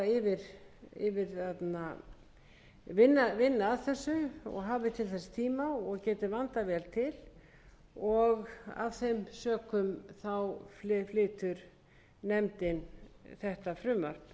gefist tími til að vinna að þessu og hafi til þess tíma og geti vandað vel til og af þeim sökum flytur nefndin þetta